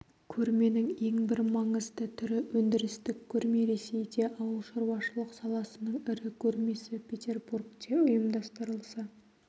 көрменің ең бір маңызды түрі өндірістік көрме ресейде ауылшаруашылық саласының ірі көрмесі петербургте ұйымдастырылса